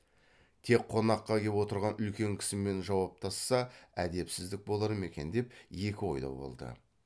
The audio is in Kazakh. тек қонаққа кеп отырған үлкен кісімен жауаптасса әдепсіздік болар ма екен деп екі ойлы болды